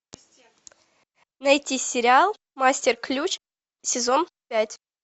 найти сериал мастер ключ сезон пять